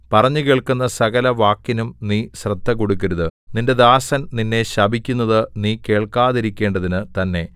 പറഞ്ഞുകേൾക്കുന്ന സകലവാക്കിനും നീ ശ്രദ്ധകൊടുക്കരുത് നിന്റെ ദാസൻ നിന്നെ ശപിക്കുന്നതു നീ കേൾക്കാതിരിക്കേണ്ടതിനു തന്നെ